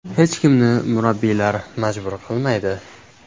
Hech kimni murabbiylar majbur qilmaydi.